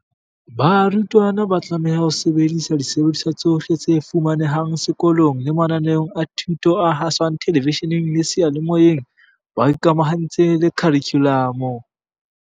Barutwana ba tlameha ho sebedisa disebediswa tsohle tse fumanehang seko long le mananeong a thuto a haswang thelevishe neng le seyalemoyeng, ba ikamahantse le kharikhu lamo.